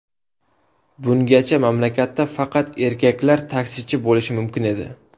Bungacha mamlakatda faqat erkaklar taksichi bo‘lishi mumkin edi.